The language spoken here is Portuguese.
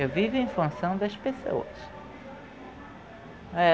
Eu vivo em função das pessoas.